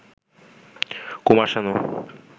Kumar Sanu